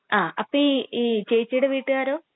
ങാ..അപ്പൊ ഈ..ചേച്ചീടെ വീട്ടുകാരോ?